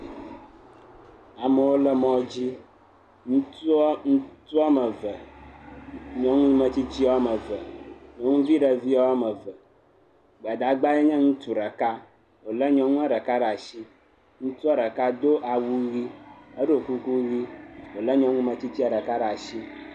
Amewo le mɔdzi ŋutsu woame eve nyɔnu metsitsi woame eve, ŋutsumetsitsi woame eve, gbadagbae nye ŋutsu ɖeka wolé nyɔnua ɖeka ɖe asi, ŋutsua ɖeka do awu ʋi edo kukuʋi wole nyɔnu metsitsia ɖeka ɖe asi.